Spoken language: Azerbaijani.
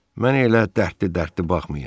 Mənə elə dərdli-dərdli baxmayın.